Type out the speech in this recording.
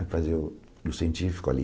Fui fazer o o científico ali.